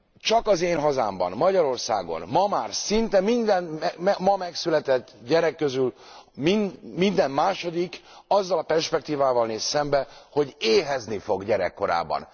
Csak az én hazámban, Magyarországon már szinte a ma megszületett gyerekek közül minden második azzal a perspektívával néz szembe, hogy éhezni fog gyerekkorában.